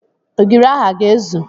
Ogiri ahụ a ga-ezu?